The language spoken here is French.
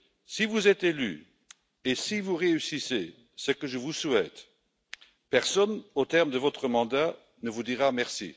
Si vous êtes élue et si vous réussissez, ce que je vous souhaite, personne, au terme de votre mandat, ne vous dira merci.